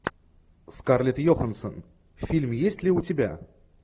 скарлетт йоханссон фильм есть ли у тебя